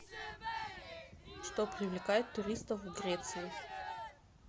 что привлекает туристов в греции